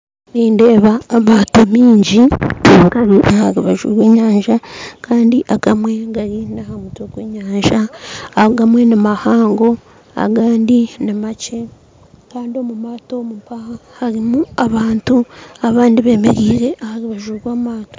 Nindeeba amaato maingi aharubaju rw'enyanja Kandi agamwe gari aha mutwe gw'enyanja agamwe nimahango agandi nimakye Kandi omumaato omumpaha harimu abantu abandi bemereire aharubaju rwamaato